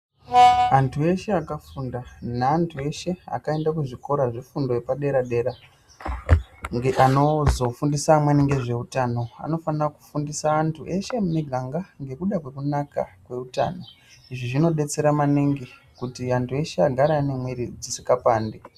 Antu eshe akafunda, neantu eshe akaenda kuzvikora zvefundo yepadera-dera, ngeanozofundisa amweni ngezveutano, anofanira kufundisa antu eshe emumiganga ngekuda kwekunaka kweutano. Izvi zvinodetsera maningi kuti antu eshe agare anemwiri dzisikapandi.